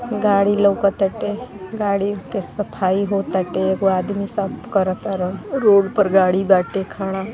गाड़ी लउकताटे। गाड़ी के सफाई हो ताटे। एगो आदमी साफ करतारन। रोड पर गाड़ी बाटे खड़ा।